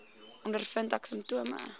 ondervind ek simptome